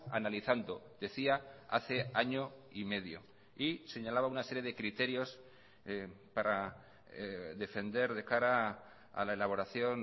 analizando decía hace año y medio y señalaba una serie de criterios para defender de cara a la elaboración